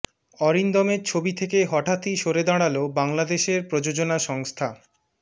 অরিন্দমের ছবি থেকে হঠাত্ই সরে দাঁড়াল বাংলাদেশের প্রযোজনা সংস্থা